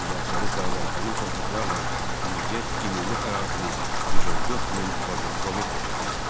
Mübahisəli sayılan həmin torpaqlarla birgə ümumi ərazimiz 114 min kvadrat kilometrə çatırdı.